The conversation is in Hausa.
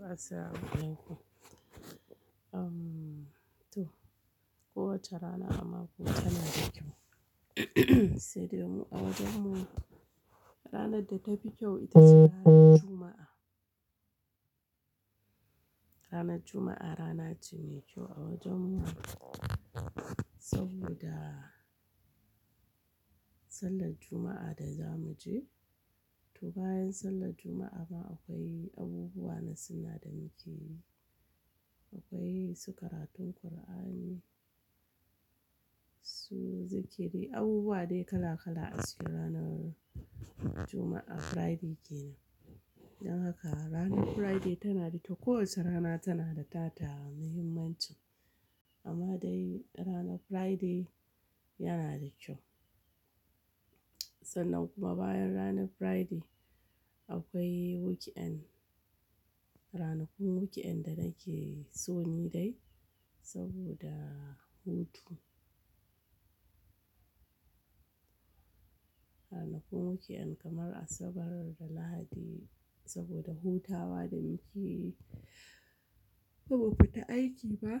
Assalamu Alaikum. To kowace rana a mako tana da kyau sai dai mu a wajen mu ranar da tafi kyau ita ce ranar Juma'a. Ranar Juma'a rana ce mai kyau a wajen mu saboda sallar Juma'a da zamu je. To bayan sallar Juma'a ma akwai abubuwa na sunnah da muke yi. Akwai su karatun Kur'ani, su zikiri, abubuwa dai kala kala ake yi ranar Juma'a, Friday kenan. Don haka ranar Friday tana da to kowace rana tana da ta ta muhimmancin amma dai ranar Friday yana da kyau. Sannan kuma bayan ranar Friday akwai weekend. Ranakun weekend da nake son yi dai saboda hutu. Ranakun weekend kamar Asabar da Lahadi saboda hutawa da muke kuma ba mu fita aiki ba.